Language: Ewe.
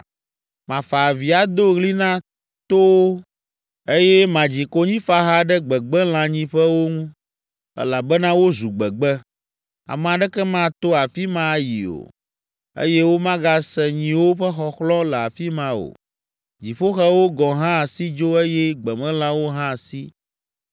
“Mafa avi ado ɣli na towo, eye madzi konyifaha ɖe gbegbelãnyiƒewo ŋu. Elabena wozu gbegbe, ame aɖeke mato afi ma ayi o eye womagase nyiwo ƒe xɔxlɔ̃ le afi ma o, dziƒoxewo gɔ̃ hã si dzo eye gbemelãwo hã si.